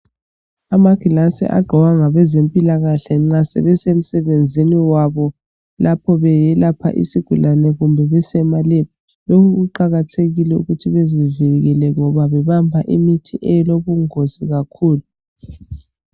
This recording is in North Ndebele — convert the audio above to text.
Amagilasi agqokwa ngabezempilakahle nxa sebesemsenzini wabo lapho beyelapha isigulane kumbe besemalab lokhu kuqakathekile ukuthi bezizwe bevikelekile ngoba bebamba imithi elobungozi kakhulu.